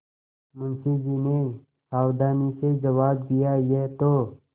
मुंशी जी ने सावधानी से जवाब दियायह तो